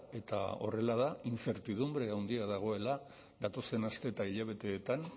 eta horrela da inzertidunbre handia dagoela datozen aste eta hilabeteetan